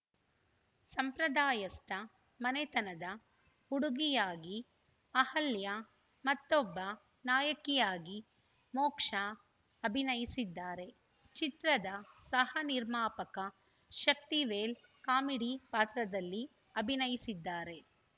ಸಂಪ್ರದಾಯಸ್ಥ ಮನೆತನದ ಹುಡುಗಿಯಾಗಿ ಅಹಲ್ಯ ಮತ್ತೊಬ್ಬ ನಾಯಕಿಯಾಗಿ ಮೋಕ್ಷಾ ಅಭಿನಯಿಸಿದ್ದಾರೆ ಚಿತ್ರದ ಸಹ ನಿರ್ಮಾಪಕ ಶಕ್ತಿವೇಲ್‌ ಕಾಮಿಡಿ ಪಾತ್ರದಲ್ಲಿ ಅಭಿನಯಿಸಿದ್ದಾರೆ